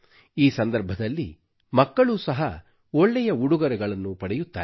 ಈ ಸಂದರ್ಭದಲ್ಲಿ ಮಕ್ಕಳೂ ಸಹ ಒಳ್ಳೆಯ ಉಡುಗೊರೆಗಳನ್ನು ಪಡೆಯುತ್ತಾರೆ